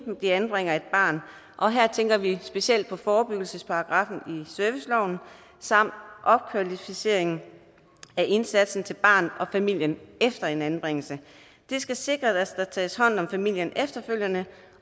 de anbringer et barn og her tænker vi specielt på forebyggelsesparagraffen i serviceloven samt opkvalificeringen af indsatsen til barnet og familien efter en anbringelse det skal sikre at der tages hånd om familien efterfølgende